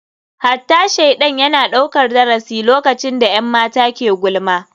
Hatta shaidan yana daukar darasi lokacin da 'yan mata ke gulma.